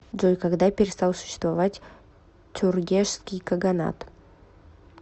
джой когда перестал существовать тюргешский каганат